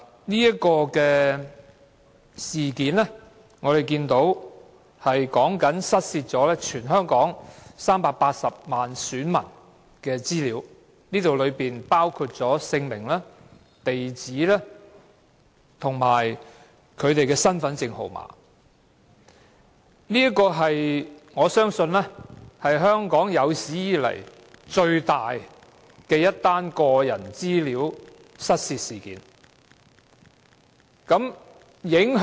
是次事件關乎失竊全港380萬選民的資料，當中包括姓名、地址和身份證號碼，我相信是香港有史以來最大的個人資料失竊事件。